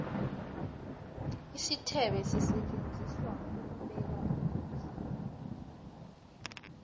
isithebe sisetjenziselwa ukubeka ukulda